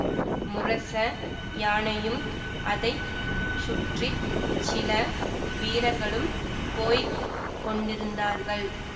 முரச யானையும் அதை சுற்றி சில வீரர்களும் போய் கொண்டிருந்தார்கள்